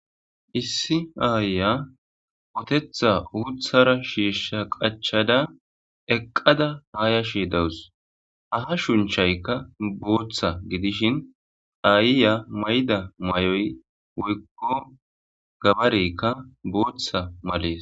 Issi aaya otetha uuthara shiishsha qachada eqqada haayashe dawus. Ha hashunchaykka bootha gidishin ha ayiya mayida mayoy woykko gabareykka booththa malees.